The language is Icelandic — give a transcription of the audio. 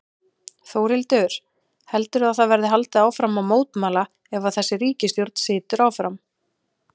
Þórhildur: Heldurðu að það verði haldið áfram að mótmæla ef að þessi ríkisstjórn situr áfram?